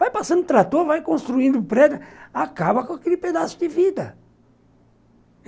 Vai passando trator, vai construindo prédio, acaba com aquele pedaço de vida.